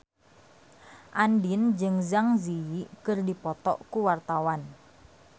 Andien jeung Zang Zi Yi keur dipoto ku wartawan